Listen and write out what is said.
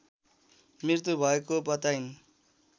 मृत्यु भएको बताइन्